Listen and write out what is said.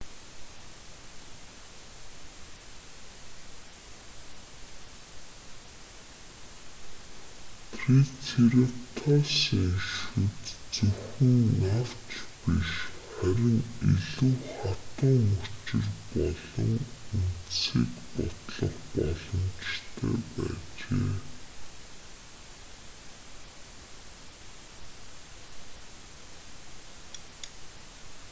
трицератопсын шүд зөвхөн навч биш харин илүү хатуу мөчир болон үндсийг бутлах боломжтой байжээ